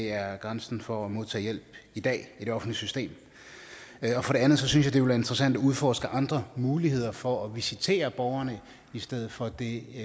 er grænsen for at modtage hjælp i dag i det offentlige system for det andet synes jeg det ville være interessant at udforske andre muligheder for at visitere borgerne i stedet for det